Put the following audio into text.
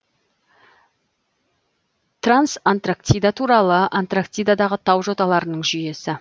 трансантарктида таулары антарктидадағы тау жоталарының жүйесі